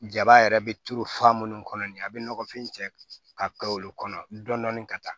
Jaba yɛrɛ bɛ turu fa minnu kɔnɔ nin a bɛ nɔgɔfin cɛ ka olu kɔnɔ dɔni ka taa